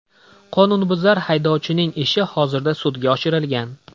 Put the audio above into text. Qonunbuzar haydovchining ishi hozirda sudga oshirilgan.